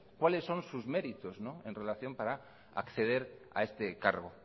cuáles son sus méritos en relación para acceder a este cargo